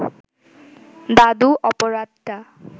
দাদু অপরাধটা